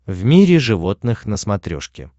в мире животных на смотрешке